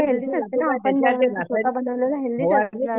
आपण